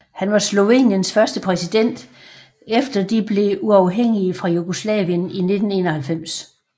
Han var Sloveniens første præsident efter de blev uafhængige fra Jugoslavien i 1991